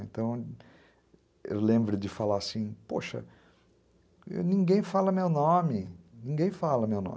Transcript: Então, eu lembro de falar assim, poxa, ninguém fala meu nome, ninguém fala meu nome.